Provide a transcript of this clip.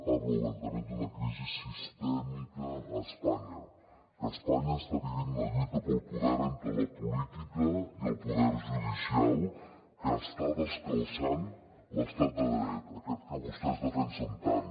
parla obertament d’una crisi sistèmica a espanya que espanya està vivint una lluita pel poder entre la política i el poder judicial que està descalçant l’estat de dret aquest que vostès defensen tant